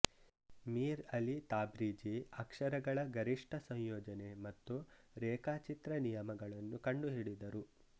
Mir Ali Tabrizi ಅಕ್ಷರಗಳ ಗರಿಷ್ಠ ಸಂಯೋಜನೆ ಮತ್ತು ರೇಖಾಚಿತ್ರ ನಿಯಮಗಳನ್ನು ಕಂಡುಹಿಡಿದರು